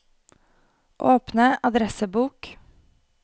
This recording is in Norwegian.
åpne adressebok